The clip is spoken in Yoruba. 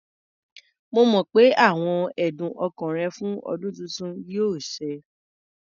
Mo mọ̀ pé àwọn ẹ̀dùn ọkàn rẹ fún ọdún tuntun yóò ṣẹ.